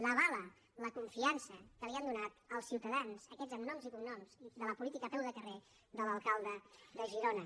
l’avala la confiança que li han donat els ciutadans aquests amb noms i cognoms de la política a peu de carrer de l’alcalde de girona